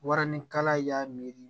Warinikala y'a miiri